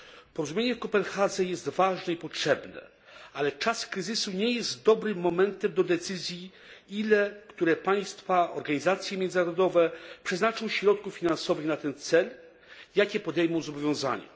Porozumienie w Kopenhadze jest ważne i potrzebne, ale czas kryzysu nie jest dobrym momentem do decyzji, ile które państwa i organizacje międzynarodowe przeznaczą środków finansowych na ten cel, jakie podejmą zobowiązania.